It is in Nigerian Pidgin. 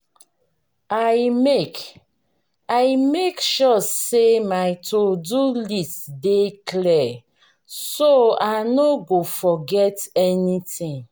i make i make sure say my to-do list dey clear so i no go forget anything.